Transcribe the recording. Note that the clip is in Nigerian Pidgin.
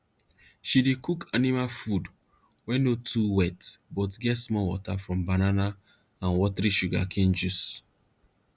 she dey cook special animal food wey no too wet but get small water from banana and watery sugarcane juice